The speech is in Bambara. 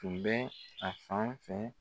Tun bɛ a fan fɛ